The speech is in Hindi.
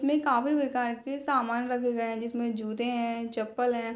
मे काफी बेकार के सामान रखे गए है जिसमे जूते है चप्पल है।